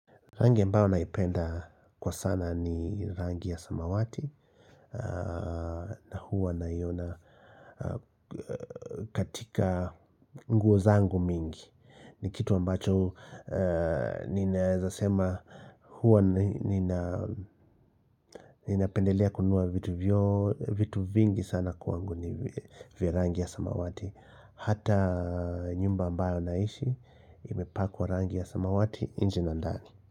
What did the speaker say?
Rangi ambao naipenda kwa sana ni rangi ya samawati na huwa naiona katika nguo zangu mingi ni kitu ambacho ninazosema huwa ninapendelea kununua vitu vingi sana kwangu ni virangi ya samawati. Hata nyumba ambayo naishi imepakwa rangi ya samawati nje na ndani.